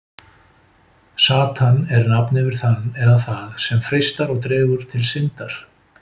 satan er nafn yfir þann eða það sem freistar og dregur til syndar